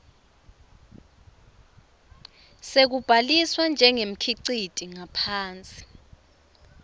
sekubhaliswa njengemkhiciti ngaphansi